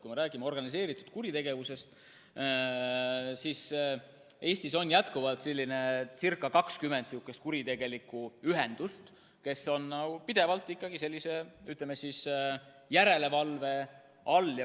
Kui me räägime organiseeritud kuritegevusest, siis Eestis on jätkuvalt umbes 20 kuritegelikku ühendust, kes on pidevalt sellise, ütleme, järelevalve all.